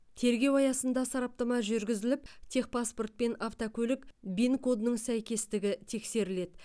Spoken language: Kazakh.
тергеу аясында сараптама жүргізіліп техпаспорт пен автокөлік вин кодының сәйкестігі тексеріледі